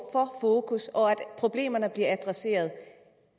for fokus og for at problemerne bliver adresseret